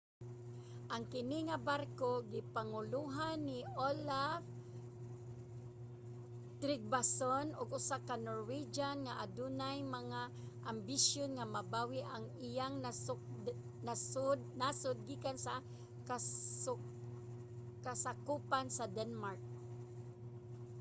ang kini nga barko gipangulohan ni olaf trygvasson usa ka norwegian nga adunay mga ambisyon nga mabawi ang iyang nasud gikan sa kasakupan sa denmark